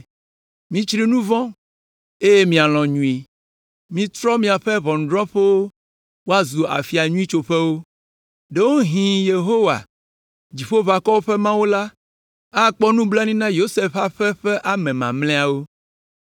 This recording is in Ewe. Mitsri nu vɔ̃ eye mialɔ̃ nyui. Mitrɔ miaƒe ʋɔnudrɔ̃ƒewo woazu afia nyui tsoƒewo. Ɖewohĩ Yehowa, Dziƒoʋakɔwo ƒe Mawu la, akpɔ nublanui na Yosef ƒe aƒe ƒe ame mamlɛawo.